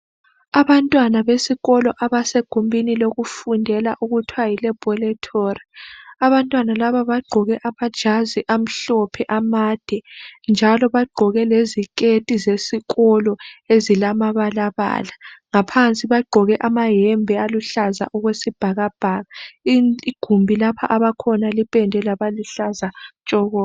Abantwana besikolo abasegumbini lokufundela okuthiwa yi laboratory. Abantwana laba bagqoke amajazi amhlophe amade njalo bagqoke leziketi zesikolo ezilamabalabala. Ngaphansi bagqoke amayembe aluhlaza okwesibhakabhaka. Igumbi lapha abakhona lipendwe labaluhlaza tshoko.